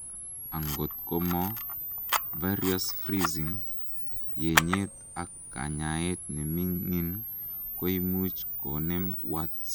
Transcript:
angot komo various freezing, yenyet ak kanyaet nemingin koimuch konem warts